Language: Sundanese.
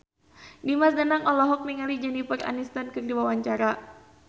Dimas Danang olohok ningali Jennifer Aniston keur diwawancara